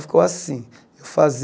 Ficou assim. Eu